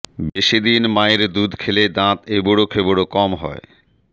বেশি দিন মায়ের দুধ খেলে দাঁত এবড়োখেবড়ো কম হয়